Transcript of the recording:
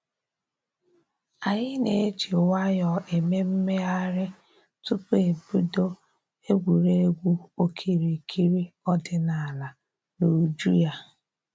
Anyị na-eji nwayọ eme mmegharị tupu e bido egwuregwu okirikiri ọdịnaala n'uju ya